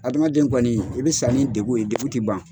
Adamaden kɔni i bɛ sa ni degun ye degun ti ban.